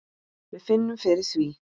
Við finnum fyrir því.